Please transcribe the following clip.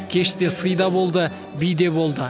кеште сый да болды би де болды